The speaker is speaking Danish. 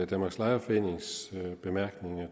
danmarks lejerforenings bemærkninger